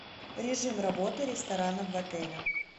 режим работы ресторана в отеле